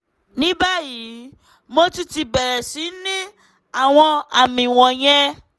ní báyìí mo tún ti bẹ̀rẹ̀ sí ní àwọn àmì wọ̀nyẹn